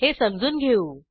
हे समजून घेऊ